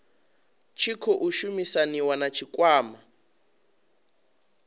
tshi khou shumisaniwa na tshikwama